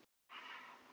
Þeir þögðu.